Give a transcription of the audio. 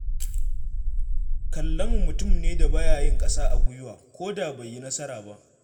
Kallamu mutum ne da ba ya yin ƙasa a gwiwa ko da bai yi nasara ba.